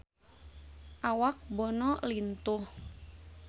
Awak Bono lintuh